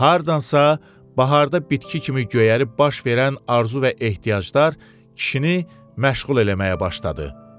Hardansa baharda bitki kimi göyərib baş verən arzu və ehtiyaclar kişini məşğul eləməyə başladı.